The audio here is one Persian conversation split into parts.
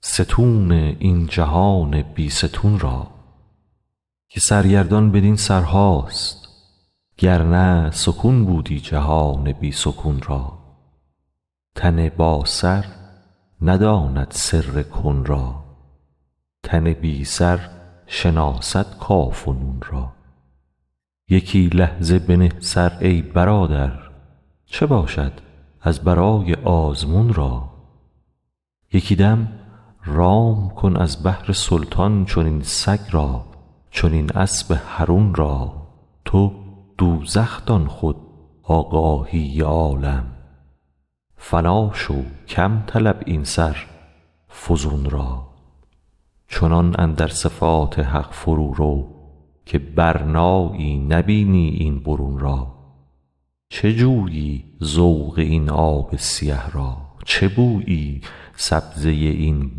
ستون این جهان بی ستون را که سرگردان بدین سرهاست گر نه سکون بودی جهان بی سکون را تن باسر نداند سر کن را تن بی سر شناسد کاف و نون را یکی لحظه بنه سر ای برادر چه باشد از برای آزمون را یکی دم رام کن از بهر سلطان چنین سگ را چنین اسب حرون را تو دوزخ دان خود آگاهی عالم فنا شو کم طلب این سر فزون را چنان اندر صفات حق فرورو که برنایی نبینی این برون را چه جویی ذوق این آب سیه را چه بویی سبزه این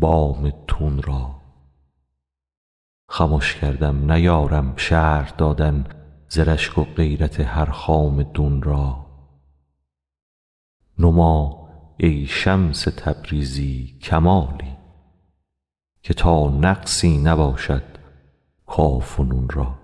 بام تون را خمش کردم نیارم شرح کردن ز رشک و غیرت هر خام دون را نما ای شمس تبریزی کمالی که تا نقصی نباشد کاف و نون را